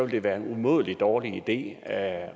det være en umådelig dårlig idé at